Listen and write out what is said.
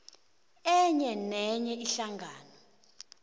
enye nenye ihlangano